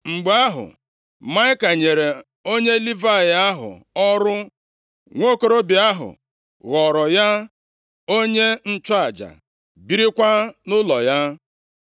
Mgbe ahụ, Maịka nyere onye Livayị ahụ ọrụ, nwokorobịa ahụ ghọọrọ ya onye nchụaja, birikwa nʼụlọ ya.